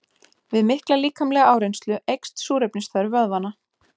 Við mikla líkamlega áreynslu eykst súrefnisþörf vöðvanna.